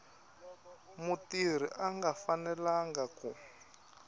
mutirhi a nga fanelanga ku